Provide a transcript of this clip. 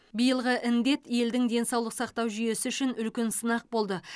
биылғы індет елдің денсаулық сақтау жүйесі үшін үлкен сынақ болды